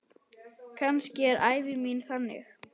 Kannski er ævi mín þannig.